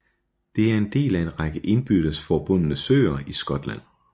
Det er en del af en række indbyrdes forbundne søer i Skotland